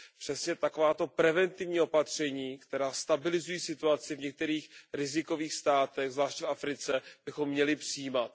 Přesně takováto preventivní opatření, která stabilizují situaci v některých rizikových státech, zvláště v Africe, bychom měli přijímat.